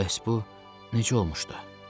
Bəs bu necə olmuşdu?